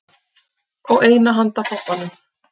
Og eina handa pabbanum.